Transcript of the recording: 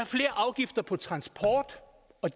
flere afgifter på transporten